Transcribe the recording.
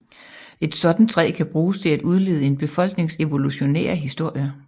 Et sådant træ kan bruges til at udlede en befolknings evolutionære historie